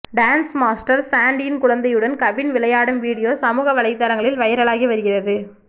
dance master சாண்டியின் குழந்தையுடன் கவின் விளையாடும் வீடியோ சமூக வலைதளங்களில் வைரலாகி வருகிறது